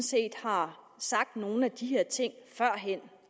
set har sagt nogle af de her ting førhen